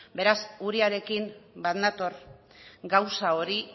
beraz uriarekin bat nator gauza hori